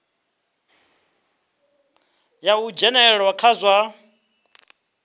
ya u dzhenelela kha zwa